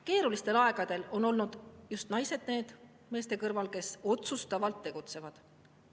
Keerulistel aegadel on olnud just naised meeste kõrval need, kes otsustavalt tegutsevad.